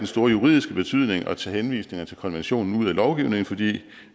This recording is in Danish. store juridiske betydning at tage henvisninger til konventionen ud af lovgivningen fordi